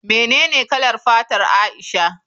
Menene kalar fatar Aisha?